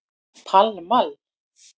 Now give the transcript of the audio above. Pall Mall